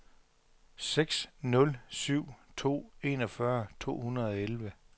seks nul syv to enogfyrre to hundrede og elleve